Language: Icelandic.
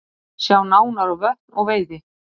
Sjá nánar á Vötn og veiði